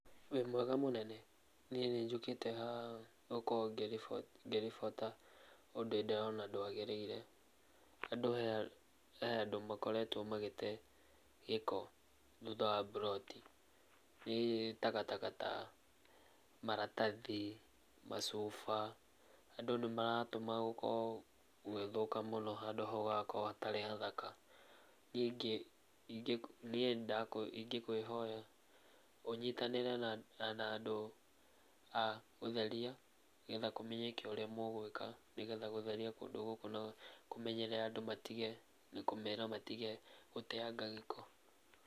Wĩ mwega mũnene? Niĩ nĩnjũkite haha nĩgũkorwo ngĩribota ũndũ ndĩrona ndwagĩrĩire. Andũ he handũ makoretwo magĩte gĩko thutha wa mburoti, nĩ takataka ta maratathi, macuba, andũ nĩ maratũma gũkorwo gũgĩthũka mũno, handũ hau hagakorwo hatarĩ hathaka. Niĩ ingĩkwĩhoya ũnyitanĩre na andũ a gũtheria nĩgetha kũmenyeke ũrĩa mũgwĩka nĩgetha gũtheria kũndũ gũkũ na kũmenyerera andũ matige, kũmera matige gũteyanga gĩko.